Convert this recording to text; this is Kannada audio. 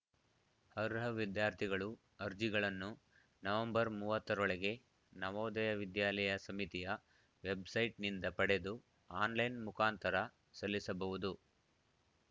ಅರ್ಹ ವಿದ್ಯಾರ್ಥಿಗಳು ಅರ್ಜಿಗಳನ್ನು ನವೆಂಬರ್ ಮೂವತ್ತ ರೊಳಗೆ ನವೋದಯ ವಿದ್ಯಾಲಯ ಸಮಿತಿಯ ವೆಬ್‌ಸೈಟ್‌ನಿಂದ ಪಡೆದು ಆನ್‌ಲೈನ್‌ ಮುಖಾಂತರ ಸಲ್ಲಿಸಬಹುದು